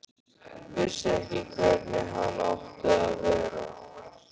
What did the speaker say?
Vissi ekki hvernig hann átti að vera.